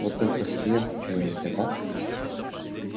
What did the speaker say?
вот только съем чего-нибудь ага